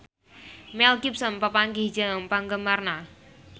Mel Gibson papanggih jeung penggemarna